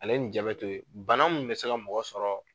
Ale ni ja bɛ t'o ye bana min bɛ se ka mɔgɔ sɔrɔ